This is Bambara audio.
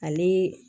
Ale